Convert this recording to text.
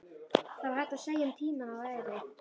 Það var hægt að segja um tímann að hann væri.